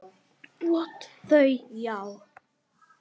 Þau: Já.